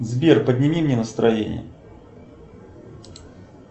сбер подними мне настроение